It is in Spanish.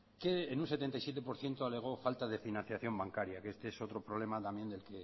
que en un setenta y siete por ciento alego falta de financiación bancaria que este es otro problema también del